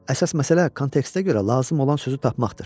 Əsas məsələ kontekstə görə lazım olan sözü tapmaqdır.